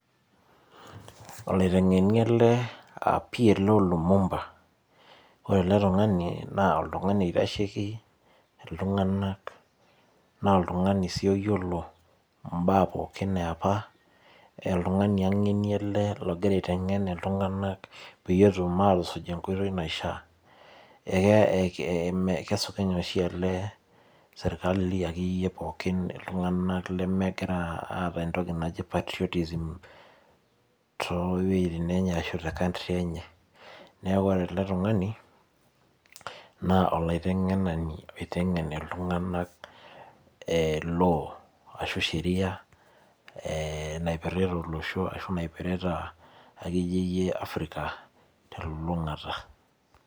Ole taing'eni ele aa PLO Lumba, ore ele ltung'ani naa oltung'ani eitasheki ltung'anak naa ltung'ani sii oiyeloo mbaa pooki nepaa. Oltung'ani aing'ene ele ogira aiteng'en ltung'ana peiye etuum atusuuj nkotoi naishaa. Eeh keisupeny' oshii ele sirikali ake enye pookin ltung'ana ake inye lemegira aata ntokii najii patriotism to wuejitin enye ashoo te country enye. Nee ore ele ltung'ani naa oiteng'enani oiteng'en ltung'anak e law ashu sheria eeh naipirita loisho ashu naipirita ake enye Africa te lulung'ata.